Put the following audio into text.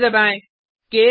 enter दबाएँ